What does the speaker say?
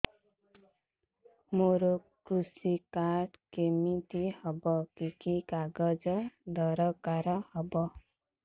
ମୋର କୃଷି କାର୍ଡ କିମିତି ହବ କି କି କାଗଜ ଦରକାର ହବ